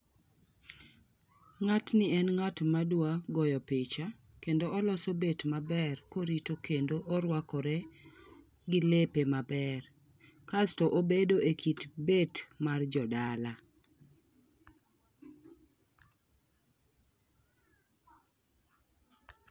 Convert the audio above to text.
Ng'atni en ng'at madwa goyo picha kendo oloso bet maber korito kendo koruakore gi lepe maber. Kasto obedo ekit bet mar jodala.